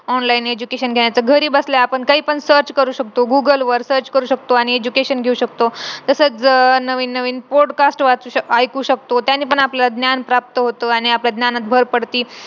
online education घेण्याच घरी बसल्या आपण काहीपण search करू शकतो google वर search करू शकतो आणि education घेऊ शकतो तसच अह नवीन नवीन podcast वाचू ऐकू शकतो त्यांनी पण आपल्याला ज्ञान प्राप्त होतो ज्ञानात भर पडती